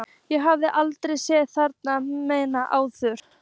Ég hafði aldrei séð þennan mann áður.